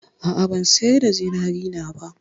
A'a, ban sayar da zinarina ba.